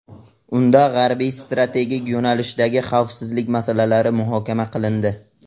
Unda G‘arbiy strategik yo‘nalishdagi xavfsizlik masalalari muhokama qilindi.